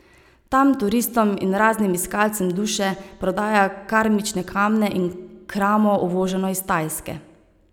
Tam turistom in raznim iskalcem duše prodaja karmične kamne in kramo, uvoženo iz Tajske.